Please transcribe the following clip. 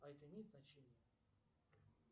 а это имеет значение